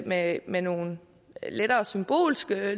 med med nogle lettere symbolske